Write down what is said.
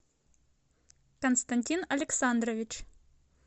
константин александрович